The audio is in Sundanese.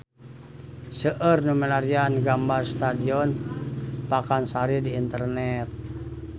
Seueur nu milarian gambar Stadion Pakansari di internet